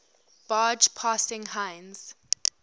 barge passing heinz